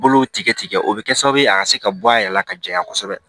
Bolow tigɛ o bɛ kɛ sababu ye a ka se ka bɔ a yɛrɛ la ka jɛya kosɛbɛ